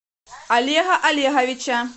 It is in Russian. олега олеговича